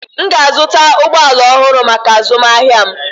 M ga-azụta ụgbọ ala ọhụrụ maka azụmahịa m.